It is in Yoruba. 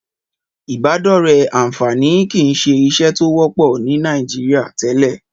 Ìbádọ́rẹ̀ẹ́ àǹfààní kìí ṣe ìṣe tó wọ́pọ̀ ní Nàìjíríà tẹ́lẹ̀.